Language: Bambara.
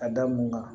A da mun kan